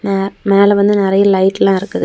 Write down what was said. ஆ மேல வந்து நிறைய லைட் எல்லா இருக்குது.